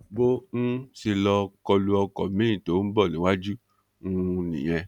bó um ṣe lọ kọ lu ọkọ̀ miín tó bọ̀ níwájú um nìyẹn